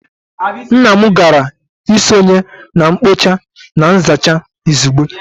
Nna m gara isonye na mkpocha na nzacha izugbe